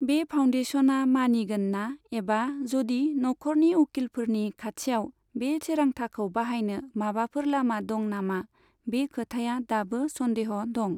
बे फाउनडेशनआ मानिगोन ना एबा जदि नखरनि उखिलफोरनि खाथियाव बे थिरांथाखौ बाहायनो माबाफोर लामा दं नामा, बे खोथाया दाबो सन्देह' दं।